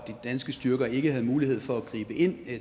danske styrker ikke havde mulighed for at gribe ind